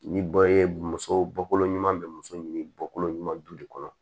Ni bɛɛ ye muso bɔ kolon ɲuman bɛ muso ɲini bɔkolo ɲuman dun de kɔnɔ